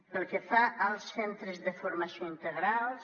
pel que fa als centres de formació integrals